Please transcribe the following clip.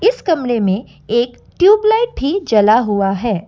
इस कमरे में एक ट्यूबलाइट भी जला हुआ है।